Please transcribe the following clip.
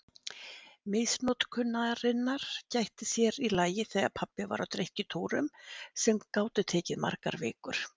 Misnotkunarinnar gætti sér í lagi þegar pabbi var á drykkjutúrum sem gátu tekið margar vikur.